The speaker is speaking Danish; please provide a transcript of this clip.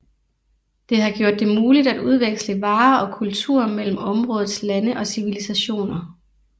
Det har gjort det muligt at udveksle varer og kultur mellem områdets lande og civilisationer